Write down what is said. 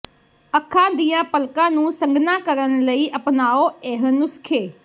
ਅੱਖਾਂ ਦੀਆਂ ਪਲਕਾਂ ਨੂੰ ਸੰਘਣਾ ਕਰਨ ਲਈ ਅਪਨਾਓ ਇਹ ਨੁਸਖੇ